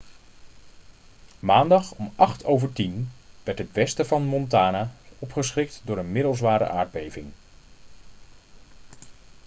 maandag om 10:08 uur werd het westen van montana opgeschrikt door een middelzware aardbeving